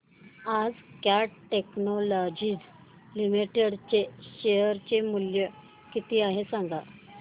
आज cat technologies limited चे share चे मूल्य किती आहे सांगा